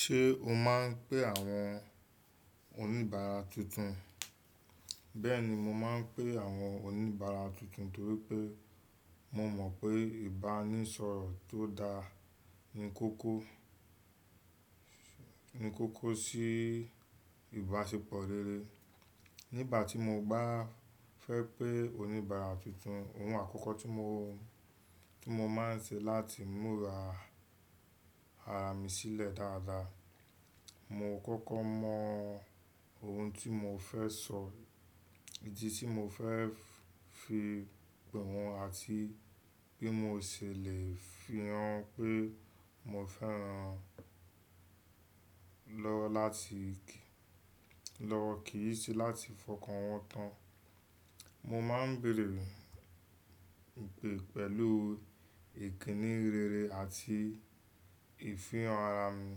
Ṣé o máa ń pé àwọn oníbàárà tuntun? Bẹ́ẹ̀ni, mo máa ń pé àwọn oníbàárà tuntun nítorí pé mò mọ̀ pé ìbánisọ̀rọ̀ tó dáa ni kókó, ni kókó sí ìbáṣepọ̀ rere. Nígbà tí mo bá fẹ́ pé oníbàárà tuntun, ohun àkọ́kọ́ tí mo, tí mo máa ń ṣe láti múra ara mi sílẹ̀ dáadáa. Mo kọ́kọ́ mọ ohun tí mo fẹ́ sọ, ìdí tí mo fẹ́ fi pè wọ́n àti bí mo ṣe lè fihàn pé mo fẹ́ran lọ láti kì, lọ kì í sí láti fọkàn wọ́n tán. Mo máa ń béèrè pè, pẹ̀lú ìkíni rere àti ìfihàn ara mi.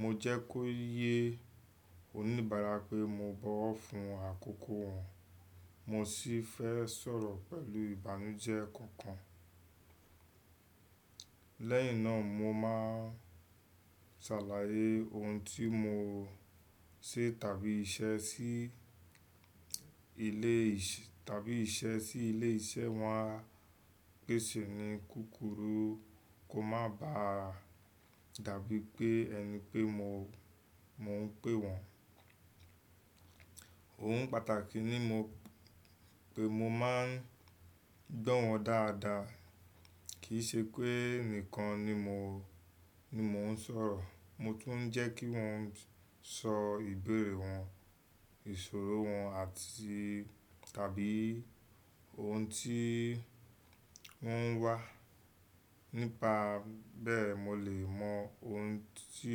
Mo jẹ́ kó yé oníbàárà pé mo bọ̀ wọ́ fún àkókò wọ́n. Mo sì fẹ́ sọ̀rọ̀ pẹ̀lú ìbánújẹ́ kankan. Lẹ́yìn náà, mo máa sàlàyé ohun tí mo ṣe tàbí iṣẹ́ sí ilé ìṣẹ́ tàbí iṣẹ́ sí ilé iṣẹ́ wọ́n á pèsè ni kúkúrù. Kó má ba dàbí pé ẹni pé mo, mò ń pè wọ́n. Ohun pàtàkì ni mo pé mo máa ń gbọ́ wọ́n dáadáa. Kì í ṣe pé nìkan ni mo, ni mò ń sọ̀rọ̀. Mo tún ń jẹ́ kí wọ́n sọ ìbéèrè wọn, ìṣòro wọn àti tàbí ohun tí wọ́n ń wá. Nípa bẹ́ẹ̀ mo lè mọ ohun tí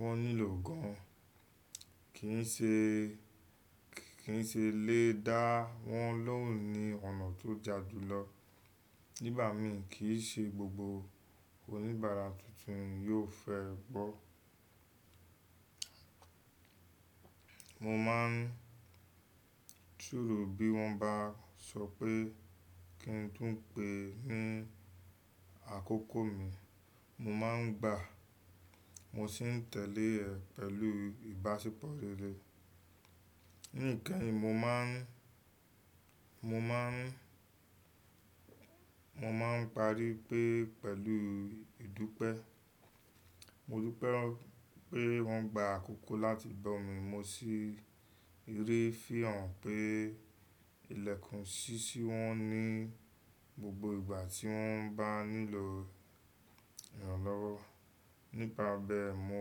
wọ́n nílò gan-an. Kì í ṣe, kì í ṣe lé dá wọ́n lóhùn ní ọ̀nà tó ja ju lọ. Nígbà míì kì í ṣe gbogbo oníbàárà tuntun yóò fẹ́ gbọ́. Mo máa ń súru bí wọ́n bá sọ pé kí n tùn pé ní àkókò mi. Mo máa ń gbà, mo sì ń tẹ̀lé ẹ pẹ̀lú ìbáṣepọ̀ rere. Nìkan ni mo máa ń, mo máa ń, mo máa ń parí pé pẹ̀lú ìdúpẹ́. Mo dúpẹ́ pé wọ́n gba àkókò láti gbọ́ mi. Mo sì rí fihàn pé ilẹ̀kùn ṣíṣí wọ́n ní gbogbo ìgbà tí wọ́n bá nílò ìrànlọ́wọ́. Nípa bẹ́ẹ̀ mo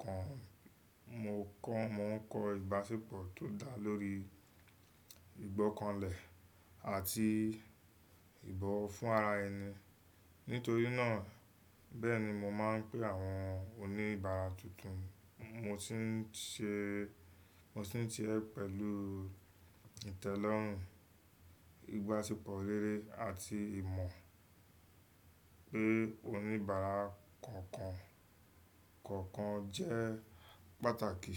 kàn, mo kọ́, mò ń kọ ìbáṣepọ̀ tó dáa lórí ìgbọ́kànlẹ̀ àti ìbọ̀wọ̀ fún ara ẹni. Nítorí náà, bẹ́ẹ̀ni mo máa ń pé àwọn oníbàárà tuntun. Mo sì ń ṣe, mo sì ń ṣe é pẹ̀lú ìtẹ́lọ́rùn, ìbáṣepọ̀ rere àti ìmọ̀ pé oníbàárà kankan, kọ̀ọ̀kan jẹ́ pàtàkì.